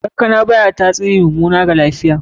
Kankana baya tasiri mummana wa lafiya.